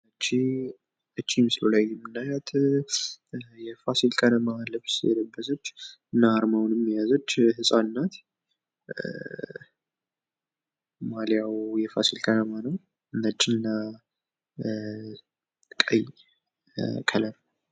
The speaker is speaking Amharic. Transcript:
ይች ምስሉ ላይ የምንናያት የፋሲል ከነማ ማልያ የለበሰች አና አርማውን በዔጅዋ የያዘች ህፃን ልጅ ነች።